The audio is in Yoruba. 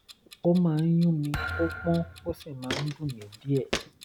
ó máa ń yún mi ó pọ́n ó sì máa ń dùn mí díẹ̀